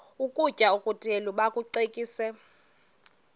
ukutya okuthile bakucekise